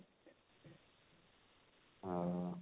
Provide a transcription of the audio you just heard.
ଓ